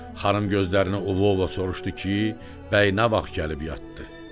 Xanım gözlərini ovova soruşdu ki, bəy nə vaxt gəlib yatdı.